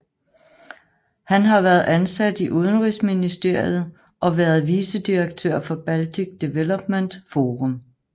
Han har været ansat i Udenrigsministeriet og været vicedirektør for Baltic Development Forum